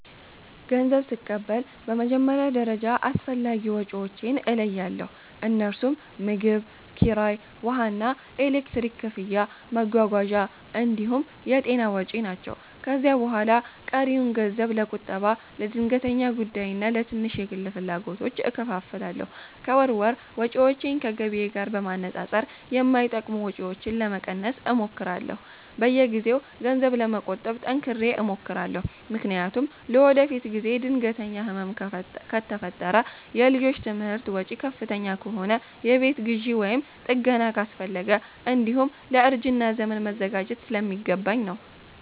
ገንዘብ ስቀበል በመጀመሪያ ደረጃ አስፈላጊ ወጪዎቼን እለያለሁ፤ እነርሱም ምግብ፣ ኪራይ፣ ውሃና ኤሌክትሪክ ክፍያ፣ መጓጓዣ እንዲሁም የጤና ወጪ ናቸው። ከዚያ በኋላ ቀሪውን ገንዘብ ለቁጠባ፣ ለድንገተኛ ጉዳይና ለትንሽ የግል ፍላጎቶች እከፋፍላለሁ። ከወር ወር ወጪዎቼን ከገቢዬ ጋር በማነጻጸር የማይጠቅሙ ወጪዎችን ለመቀነስ እሞክራለሁ። በየጊዜው ገንዘብ ለመቆጠብ ጠንክሬ እሞክራለሁ፤ ምክንያቱም ለወደፊት ጊዜ ድንገተኛ ህመም ከፈጠረ፣ የልጆች ትምህርት ወጪ ከፍተኛ ከሆነ፣ የቤት ግዢ ወይም ጥገና አስፈለገ፣ እንዲሁም ለእርጅና ዘመን መዘጋጀት ስለሚገባኝ ነው።